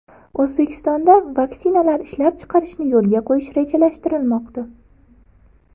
O‘zbekistonda vaksinalar ishlab chiqarishni yo‘lga qo‘yish rejalashtirilmoqda.